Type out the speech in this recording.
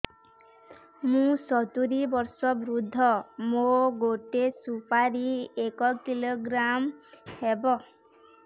ମୁଁ ସତୂରୀ ବର୍ଷ ବୃଦ୍ଧ ମୋ ଗୋଟେ ସୁପାରି ଏକ କିଲୋଗ୍ରାମ ହେବ